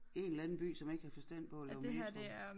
En eller anden by som ikke havde forstand på at lave metro